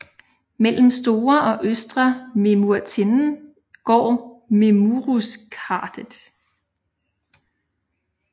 Mellem Store og Østre Memurtinden går Memuruskardet